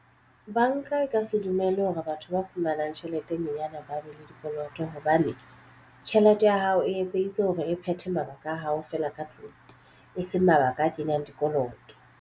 Banka e ka se dumelle hore batho ba fumanang tjhelete e nyenyane ba be le dikoloto hobane tjhelete ya hao e etseditswe hore e phethe mabaka a hao fela ka tlung e seng mabaka a kenyang dikoloto.